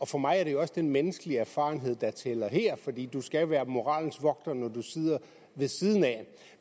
for mig er det også den menneskelige erfarenhed der tæller her fordi du skal være moralens vogter når du sidder ved siden af